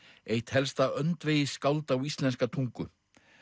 eitt helsta á íslenska tungu